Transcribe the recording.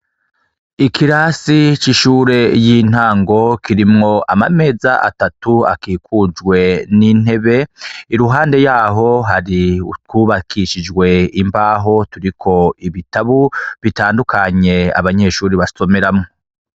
Ikirasi c'ishure yintango kirimwo amameza atatu akikujwe n'intebe iruhande yaho hari utwubakishijwe imbaho turiko ibitabu bitandukanye abanyeshure basomeramwo.